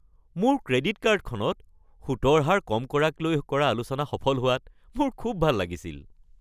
মোৰ ক্ৰেডিট কাৰ্ডখনত সুতৰ হাৰ কম কৰাক লৈ কৰা আলোচনা সফল হোৱাত মোৰ খুব ভাল লাগিছিল।